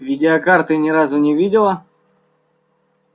видеокарты ни разу не видела